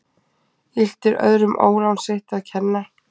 Illt er öðrum ólán sitt að kenna.